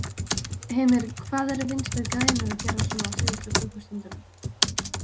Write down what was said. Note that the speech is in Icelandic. Heimir: Hvað eru Vinstri-grænir að gera svona á síðust klukkustundunum?